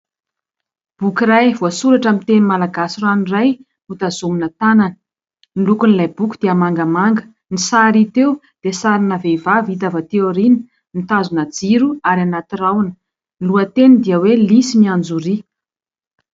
Boky iray, voasoratra amin'ny teny malagasy ranoray, no tazomina tanana. Ny lokon'ilay boky dia mangamanga. Ny sary hita eo dia sarina vehivavy hita avy aty aoriana, mitazona jiro ary hanaty rahona. Ny lohateny dia hoe lisy mianjoria.